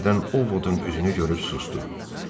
O bir-dən Ovodun üzünü görüb susdu.